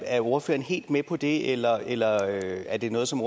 er ordføreren helt med på det eller eller er det noget som